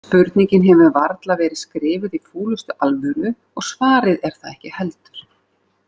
Spurningin hefur varla verið skrifuð í fúlustu alvöru og svarið er það ekki heldur.